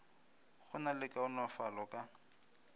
go na le kaonafalo ka